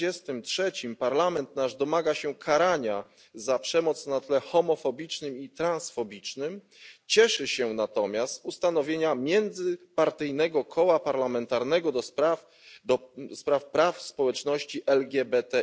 43. Parlament domaga się karania za przemoc na tle homofobicznym i transfobicznym, cieszy się natomiast z ustanowienia międzypartyjnego koła parlamentarnego do spraw praw społeczności LGBTI.